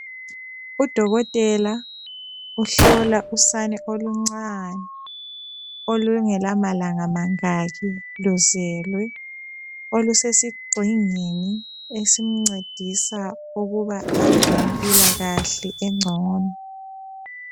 Udokotela uhlola usane oluncane olungela malanga mangaki luzelwe, olusesigxingini esincedisa ukuba abe lempilakahle engcono.